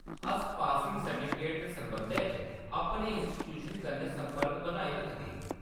अस passing certificate दे सरबंधै च अपनी इन्स्टिटूशन कन्नै संपर्क बनाई रखगे।